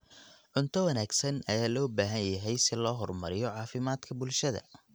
Cunto wanaagsan ayaa loo baahan yahay si loo horumariyo caafimaadka bulshada.